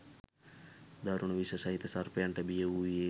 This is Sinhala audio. දරුණු විස සහිත සර්පයන්ට බිය වූයේ